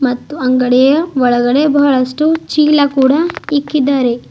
ಮತ್ತು ಅಂಗಡೀಯ ಒಳಗಡೆ ಬಹಳಷ್ಟು ಚೀಲ ಕೂಡ ಇಕ್ಕಿದ್ದಾರೆ.